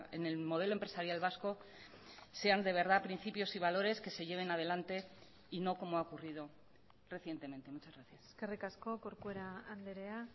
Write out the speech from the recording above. en el modelo empresarial vasco sean de verdad principios y valores que se lleven adelante y no como ha ocurrido recientemente muchas gracias eskerrik asko corcuera andrea